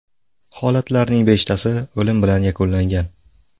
Holatlarning beshtasi o‘lim bilan yakunlangan.